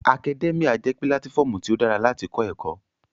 Akadẹ́míà jẹ́ pílátífọmu tí ó dára láti kọ́ ẹ̀kọ́